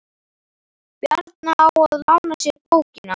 Bjarna á að lána sér bókina.